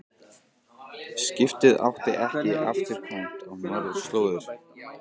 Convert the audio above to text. Skipið átti ekki afturkvæmt á norðurslóðir.